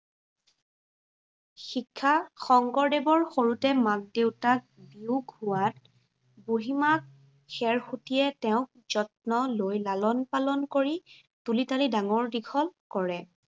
শিক্ষা, শংকৰদেৱৰ সৰুতেই মাক দেউতাক বিয়োগ হোৱাত, বুঢ়ীমাক খেৰসূতীয়ে তেওঁক যত্ন লৈ লালন পালন কৰি তুিল তালি ডাঙৰ দীঘল কৰে।